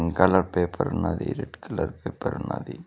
Colour paper ఉన్నది red colour paper ఉన్నది.